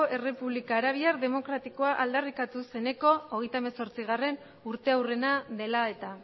errepublika arabiar demokratikoa aldarrikatu zeneko hogeita hemezortzigarrena urteurrena dela eta